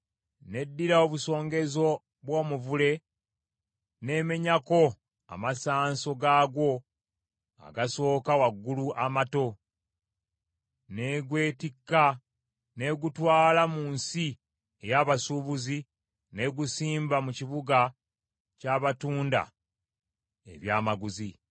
N’eddira obusongenzo bw’omuvule n’emenyako amasanso gaagwo agasooka waggulu amato, n’egwetikka n’egutwala mu nsi ey’abasuubuzi n’egusimba mu kibuga ky’abatunda ebyamaguzi.’